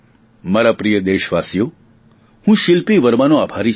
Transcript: મારા પ્રિય દેશવાસીઓ હું શીલ્પી વર્માનો આભારી છું